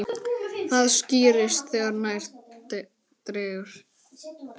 Það skýrist þegar nær dregur.